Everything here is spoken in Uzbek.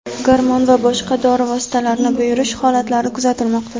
gormon va boshqa dori vositalarini buyurish holatlari kuzatilmoqda.